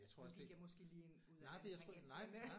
Nu gik jeg måske lige ind ud af en tangent men øh